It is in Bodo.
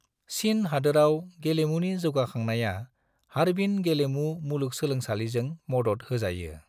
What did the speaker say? चीन हादोराव गेलेमुनि जौगाखांनाया हार्बिन गेलेमु मुलुंसोलोंसालिजों मदद होजायो।